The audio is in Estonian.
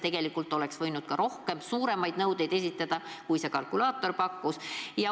Tegelikult oleks võinud ka rohkem, suuremaid nõudeid esitada, kui see kalkulaator pakkus.